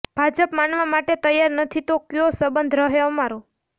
ભાજપ માનવા માટે તૈયાર નથી તો કયો સબંધ રહે અમારો